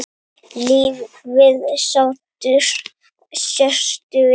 Lífið sáttur sértu við.